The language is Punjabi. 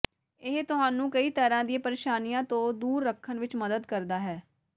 ਇਹ ਤੁਹਾਨੂੰ ਕਈ ਤਰ੍ਹਾਂ ਦੀ ਪਰੇਸ਼ਾਨੀਆਂ ਤੋਂ ਦੂਰ ਰੱਖਣ ਵਿੱਚ ਮਦਦ ਕਰਦਾ ਹੈ